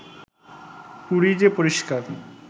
পুরী যে পরিস্কার